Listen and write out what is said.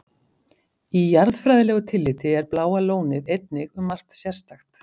Í jarðfræðilegu tilliti er Bláa lónið einnig um margt sérstakt.